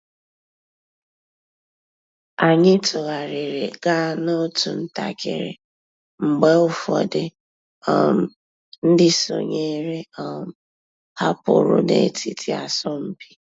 Ányị́ tụ́ghàrị́rị́ gàá n'otu ntakị́rị́ mg̀bé ụ́fọ̀dụ́ um ndị́ sònyééré um hàpụ́rụ́ n'ètìtí àsọ̀mpị́.